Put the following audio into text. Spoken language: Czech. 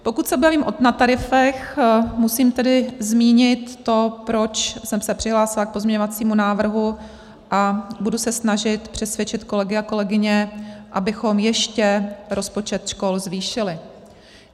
Pokud se bavím o nadtarifech, musím tedy zmínit to, proč jsem se přihlásila k pozměňovacímu návrhu a budu se snažit přesvědčit kolegy a kolegyně, abychom ještě rozpočet škol zvýšili.